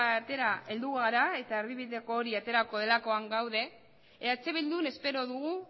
batera heldu gara eta erdibideko hori eperako delakoan gaude eh bildun espero dugu